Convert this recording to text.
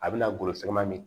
A bɛna golosiman min